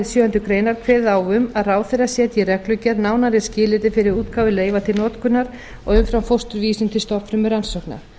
sjöundu grein kveðið á um að ráðherra setji í reglugerð nánari skilyrði fyrir útgáfu leyfa til notkunar á umframfósturvísum til stofnfrumurannsókna